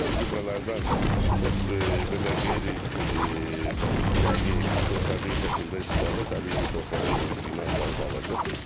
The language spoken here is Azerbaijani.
Əvvəl gübrələrdən çox belə qeyri dəqiq, körtəbir şəkildə istifadə təbii ki, torpağın münbitliyini aşağı salırdı.